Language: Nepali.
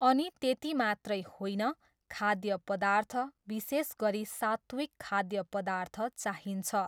अनि त्यति मात्रै होइन, खाद्य पदार्थ, विशेष गरी सात्त्विक खाद्य पदार्थ चाहिन्छ।